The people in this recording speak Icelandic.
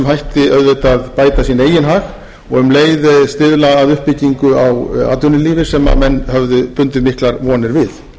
hætti auðvitað bæta sinn eigin hag og um leið stuðla að uppbyggingu á atvinnulífi sem menn höfðu bundið miklar vonir við